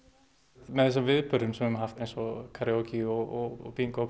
með þessum viðburðum sem við höfum haft eins og karíókí og bingó og